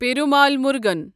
Perumal مُرغن